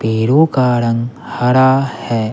पेड़ों का रंग हरा है।